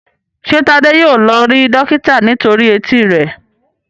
ṣe Tade yíò lọ rí dókítà nítorí Etí rẹ?